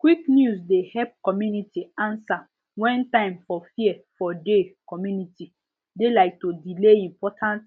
quick news dey help community answer when time for fear for de communities de like to delay important